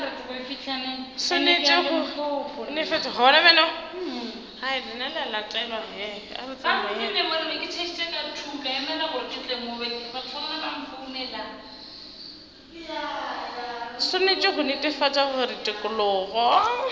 swanetše go netefatša gore tikologo